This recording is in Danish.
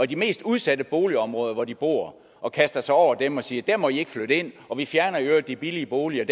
de mest udsatte boligområder hvor de bor og kaster sig over dem og siger der må i ikke flytte ind og vi fjerner i øvrigt de billige boliger